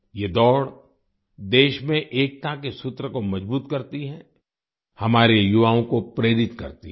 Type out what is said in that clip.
ये दौड़ देश में एकता के सूत्र को मजबूत करती है हमारे युवाओं को प्रेरित करती है